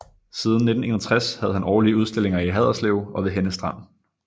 Siden 1961 havde han årlige udstillinger i Haderslev og ved Henne Strand